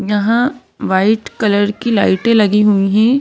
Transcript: यहां white colour की लाइटें लगी हुई है ।